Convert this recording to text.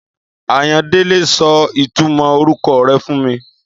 Àyándẹle sọ ìtúmò oruko rẹ fún mi